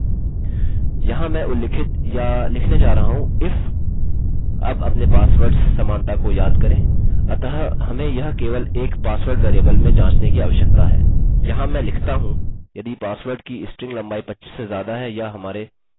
तो हम एक एरर एको करेंगे जो कहता है password must be between 6 and 25 characters यह निश्चित ही कार्य करेगा